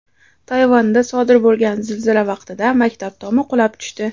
Tayvanda sodir bo‘lgan zilzila vaqtida maktab tomi qulab tushdi.